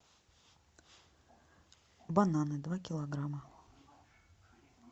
бананы два килограмма